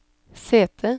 sete